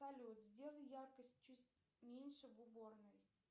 салют сделай яркость чуть меньше в уборной